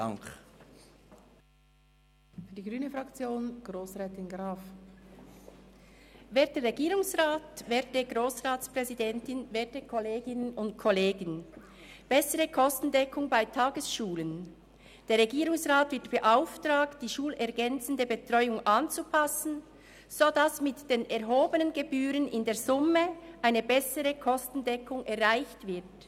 «Bessere Kostendeckung bei Tagesschulen»: Der Regierungsrat wird beauftragt, die schulergänzende Betreuung so anzupassen, dass mit den erhobenen Gebühren in der Summe eine bessere Kostendeckung erreicht wird.